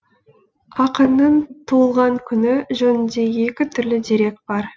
ақынның туылған күні жөнінде екі түрлі дерек бар